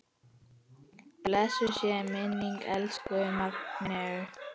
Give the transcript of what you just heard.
Blessuð sé minning elsku Magneu.